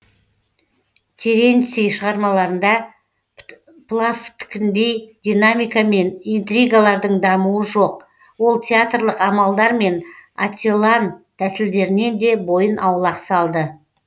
теренций шығармаларында плавттікіндей динамика мен интригалардың дамуы жоқ ол театрлық амалдар мен ателлан тәсілдерінен де бойын аулақ салды